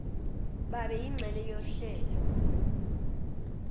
babe yingxenye yohlelo